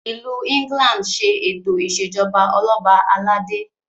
ilù England ṣe eto ìṣèjọba Ọlọba aládé